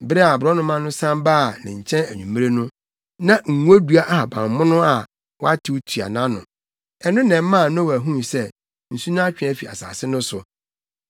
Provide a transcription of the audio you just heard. Bere a aborɔnoma no san baa ne nkyɛn anwummere no, na ngodua ahabammono a watew tua nʼano. Ɛno na ɛmaa Noa huu sɛ nsu no atwe afi asase no so.